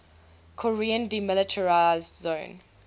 korean demilitarized zone